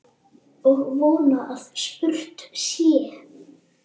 Og von að spurt sé.